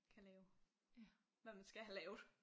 Kan lave hvad man skal have lavet